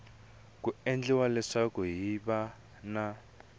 ku endla leswaku hiv na